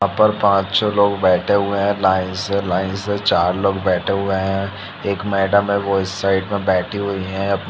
यहाँ पर पाँच-छे लोग बैठे हुए हैं लाइन्स से लाइन से चार लोग बैठे हुए हैं एक मैडम है वो इस साइड में बैठी हुई है अब --